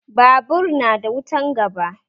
Babur na da wutan gaba